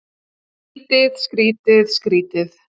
Skrýtið, skrýtið, skrýtið.